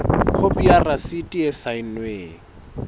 khopi ya rasiti e saennweng